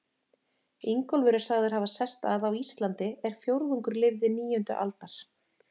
Ingólfur er sagður hafa sest að á Íslandi er fjórðungur lifði níundu aldar.